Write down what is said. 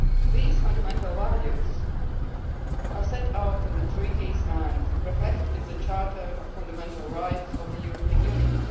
These fundamental values are set out in the Treaties and reflected in the Charter of Fundamental Rights of the European Union.